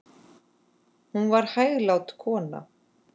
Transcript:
Hún var hæglát kona.